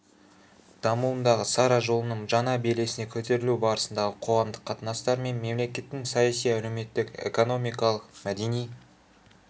дамуындағы сара жолының жаңа белесіне көтерілу барысындағы қоғамдық қатынастар мен мемлекеттің саяси әлеуметтік экономикалық мәдени